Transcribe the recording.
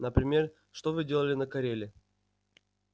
например что вы делали на кореле